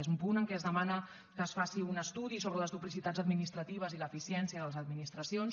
és un punt en què es demana que es faci un estudi sobre les duplicitats administratives i l’eficiència de les administracions